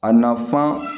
A nafan